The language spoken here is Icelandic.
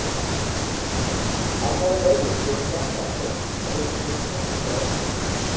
Annar vörður hljóp hratt að þeim, riffillinn hristist á öxlinni.